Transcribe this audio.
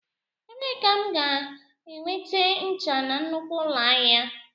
Ebee ka m ga-enweta ncha na nnukwu ụlọ ahịa?